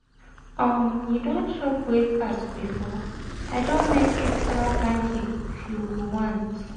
um you don chop breakfast? i don make extra pancake if you um go want